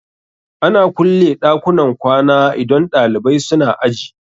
Ana kulle ɗakunan kwana idan ɗalibai suna aji